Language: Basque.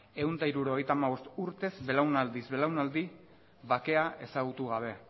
ehun eta hirurogeita hamabost urtez belaunaldiz belaunaldi bakea ezagutu gabe